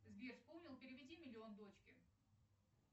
сбер вспомнил переведи миллион дочке